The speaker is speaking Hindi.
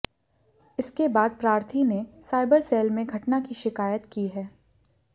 इसके बाद प्रार्थी ने साइबर सेल में घटना की शिकायत की है